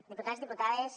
diputats diputades